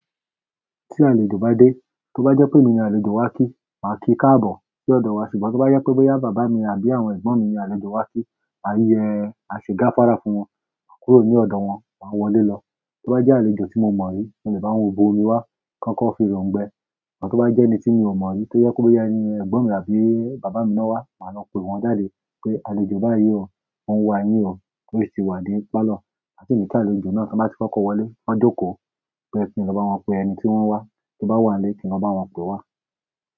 Tí àlejò bá dé, tó bá jẹ́ pé emi ni àlejò wá kí, màá kí káàbọ̀ sí ọ̀dọ̀ wa, ṣùgbọ́n tó bá jẹ́ pé boyá bàbá mi àbí àwọn ẹ̀gbọ́n mi ni àlejò wá kí, maa yẹ maa se gafara fún wọn, máa kúrò ní ọ̀dọ̀ wọn, máa wọlé lọ. Tó bá jẹ́ àlejò tí mo mọ̀ rí, mo lè bá wọn wọ ibori wá, kan kọ fi rọ̀ǹgbẹ. Amọ tó bá jẹ́ ẹni tí mi ò mọ̀ rí tó yẹ kó pé ó yá ẹ̀gbọ́n mi àbí bàbá mi náwá, màá lọ pe wọ́n jáde pé àlejò bá yi o, ó ń wa yín o, ó sì ti wá ni pálọ̀. Ma si ki àlejò náà, tí wọ́n bá ti fọkọ́ wọlé, kan jókòó pé kí ni lọ bá wọn pe ẹni tí wọ́n ń wá, tó bá wà nílé kí wọ́n bá wọn pè wá.